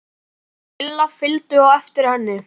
Lilla fylgdu á eftir henni.